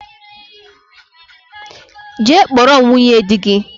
Jee kpọrọ m nwunye dị gị